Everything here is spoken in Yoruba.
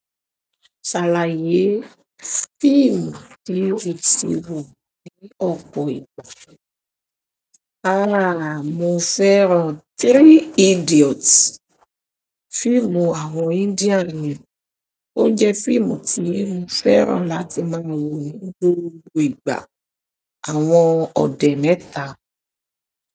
Ṣàlàyé fíìmù tí o tì wò ní ọ̀pọ̀ ìgbà. Mo fẹ́ràn Three Idiots, fíìmù àwọn Indian ni. Ó jẹ́ fíìmù tí mo fẹ́ràn láti máa wò ni gbogbo ìgbà àwọn òde mẹ́ta.